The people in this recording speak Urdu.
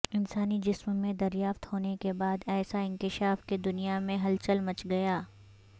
انسانی جسم میں دریافت ہونے کے بعد ایسا انکشاف کہ دنیا میں ہلچل مچ گئی